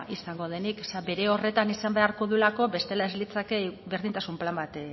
izango denik zeren bere horretan izan beharko duelako bestela ez litzake berdintasun plan bat